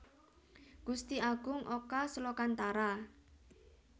Gusti Agung Oka Slokantara